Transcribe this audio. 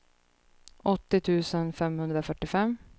åttio tusen femhundrafyrtiofem